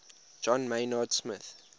john maynard smith